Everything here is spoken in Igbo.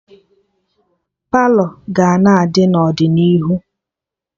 Palọ ga-na adị n'ọdịnihu